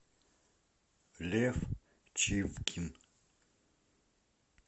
лев чивкин